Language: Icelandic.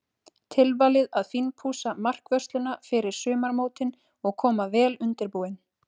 Tilvalið að fínpússa markvörsluna fyrir sumarmótin og koma vel undirbúin.